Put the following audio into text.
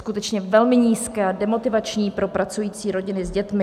Skutečně velmi nízké a demotivační pro pracující rodiny s dětmi.